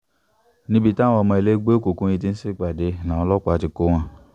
níbi táwọn ọmọ ẹgbẹ́ òkùnkùn yìí ti ń ṣèpàdé làwọn ọlọ́pàá ti kọ́ wọn